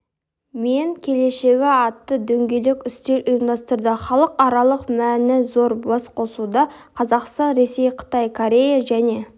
мен келешегі атты дөңгелек үстел ұйымдастырды халықаралық мәні зор басқосуда қазақстан ресей қытай корея және